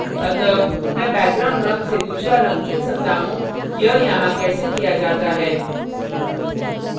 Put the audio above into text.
अतः मैं background रंग से दूसरा रंग चुन सकता how यह यहाँ कैसे किया जाता है